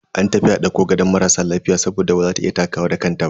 An tafi dauko gadon marasa lafiya saboda baza ta iya takawa da kanta ba.